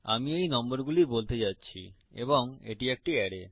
আমি এই নম্বরগুলি বলতে যাচ্ছি এবং এটি একটি অ্যারে